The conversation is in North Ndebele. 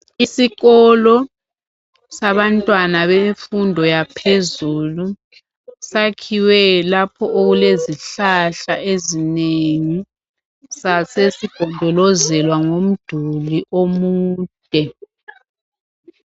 Isikolo sabantwana bemfundo yaphezulu sakhiwe lapho okulezihlahla ezinengi sasesigonjolozelwa ngumduli omude